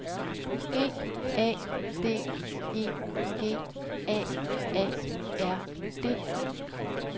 G A D E G A A R D